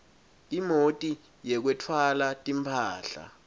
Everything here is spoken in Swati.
imoti yekwetfwala timphahla